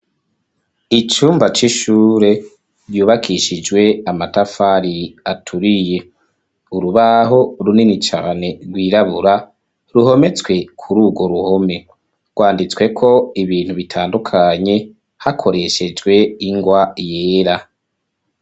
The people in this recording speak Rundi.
Icumba c'ishure, ryubakishijwe amatafari, aturiye; urubaho runini cane, rwirabura, ruhometswe kuri urwo ruhome; rwanditsweko ibintu, bitandukanye; hakoreshejwe, ingwa yera.